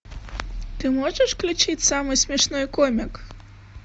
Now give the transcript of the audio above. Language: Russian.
ты можешь включить самый смешной комик